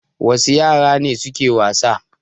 Wasu yara ne suke wasa?